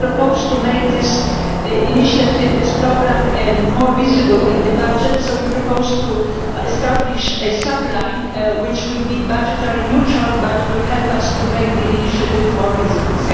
We propose to make this initiative and this programme more visible in the budget, so we propose to establish a sub line which will be budget neutral but will help us to make the initiative more visible.